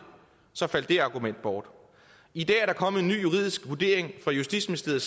så faldt det argument bort i dag er kommet en ny juridisk vurdering fra justitsministeriet